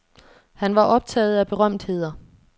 Han var optaget af berømtheder.